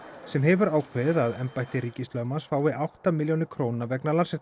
sem hefur ákveðið að embætti ríkislögmanns fái átta milljónir króna vegna